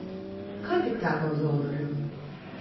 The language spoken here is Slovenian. Kaj tiktaka v zaodrju?